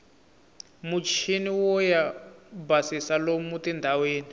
muchiniwo yo basisa lomu tindlwini